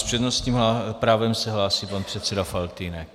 S přednostním právem se hlásí pan předseda Faltýnek.